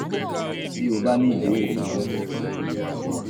bí o bá ní ìbéèrè míràn o lè kàn sí wa